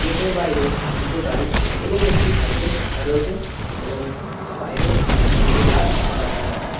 Gate -এর বাইরে দুটো গাড়ি এবং একটি সাইকেল রাখা রয়েছে এবং বাইরে দুটো গাছ দেখা যাচ্ছে ।